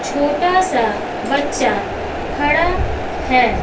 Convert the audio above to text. छोटा सा बच्चा खड़ा है।